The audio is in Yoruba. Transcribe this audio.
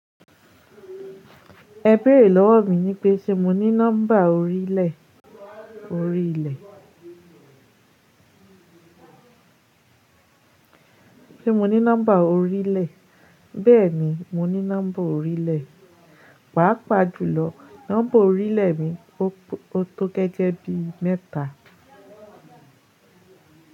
Ẹ béèrè lọ́wọ́ mi ní pé ṣe mo ní nọ́mbà orílẹ̀, orílẹ̀. Ṣé mo ní nọ́mbà orílẹ̀? Bẹ́ẹ̀ni, mo ní nọ́mbà orílẹ̀. Pàá pàjú lọ, nọ́mbà orílẹ̀ mi tó gẹ́gẹ́ bí mẹ́ta.